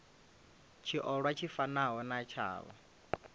tshiolwa tshi fanaho na tshavho